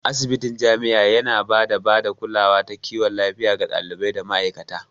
Asibitin jami'a yana ba da bada kulawa ta kiwon lafiya ga ɗalibai da ma'aikata.